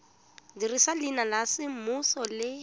dirisa leina la semmuso le